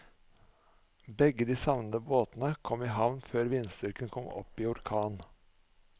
Begge de savnede båtene kom i havn før vindstyrken kom opp i orkan.